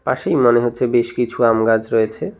পাশেই মনে হচ্ছে বেশ কিছু আম গাছ রয়েছে।